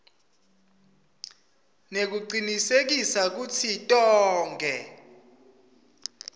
nekucinisekisa kutsi tonkhe